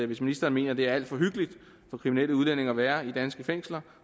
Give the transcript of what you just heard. hvis ministeren mener det er alt for hyggeligt for kriminelle udlændinge at være i danske fængsler